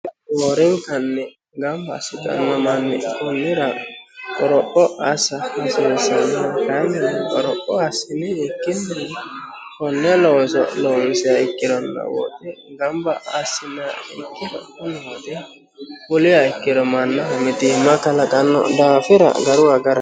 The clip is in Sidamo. hoorinkanni gamba assitanno manni kunnira qoropho assa hasiissano n kanni goropho assiniikkinni honne loonso loomisia ikkironno woote gamba assina ikkiro ihoote uliya ikkiro mannaho mitiimma kalaqanno daafira garu agaro